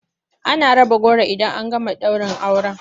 Ana raba goro idan an gama daurin aure.